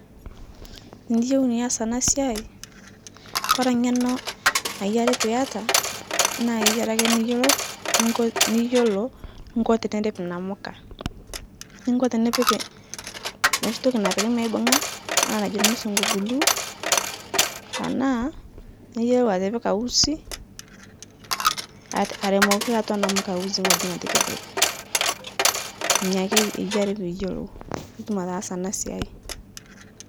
Tiniyeu nias ana siai, Kore ng'eno nayiari piata, naa keyiari ake niyolou, ninko niyolou, ninko tinirip namka, ninko tinipik noshi toki napiki meibung'a ana najo lmusungu glue tanaa, niyolou atipika usi aremoki atwa namka usi ng'oji netikijate inia ake eyiari piiyolou puutum ataasa ana siai.